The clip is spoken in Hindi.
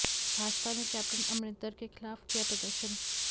भाजपा ने कैप्टन अमरिन्दर के खिलाफ किया प्रदर्शन